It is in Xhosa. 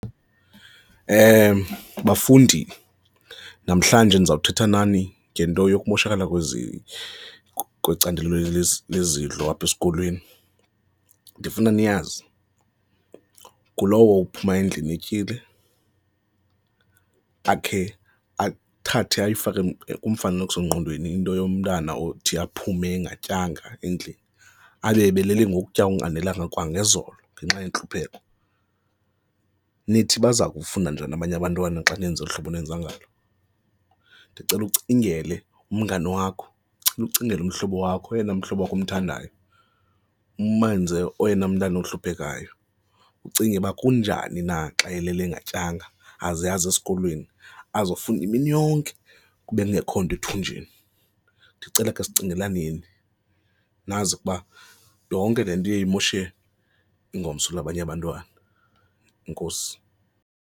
Bafundi, namhlanje ndizothetha nani ngento yokumoshakala kwecandelo lezidlo apha esikolweni. Ndifuna niyazi ngulowo uphuma endlini etyile, akhe athathe ayifake kumfanekiso ngqondweni into yomntana othi aphume engatyanga endlini abe ebeleli ngokutya onganelanga kwangezolo ngenxa yentlupheko, nithi baza kufunda njani abanye abantwana xa nenza ngolu hlobo nenza njalo? Ndicela ucingele umngani wakho, ndicela ucingele umhlobo wakho, oyena mhlobo wakho omthandayo, umenze oyena mntana ohluphekayo, ucinge uba kunjani na xa elele engatyanga aze aze esikolweni azokufunda imini yonke kube kungekho nto ethunjini. Ndicela sicingelaneni, nazi ukuba le nto iye imoshe ingomso labanye abantwana, enkosi.